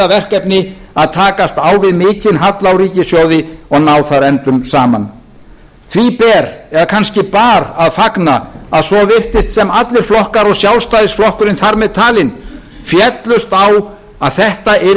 verkefni að takast á við mikinn halla á ríkissjóði og ná þar endum saman því ber eða kannski bar að fagna að svo virtist sem allir flokkar og sjálfstæðisflokkurinn þar með talinn féllust á að þetta yrði